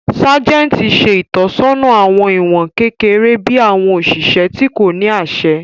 Sájẹ̀ntì ṣe ìtọ́sọ́nà àwọn ìwọ̀n kékeré bí àwọn òṣìṣẹ́ tí kò ní àṣẹ